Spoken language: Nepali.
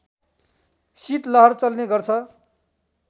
शीतलहर चल्ने गर्छ